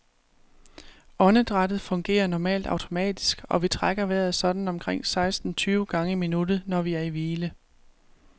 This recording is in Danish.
Åndedrættet fungerer normalt automatisk, og vi trækker vejret sådan omkring seksten tyve gange i minuttet, når vi er i hvile.